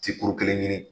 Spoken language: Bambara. Tikkuru kelen ɲini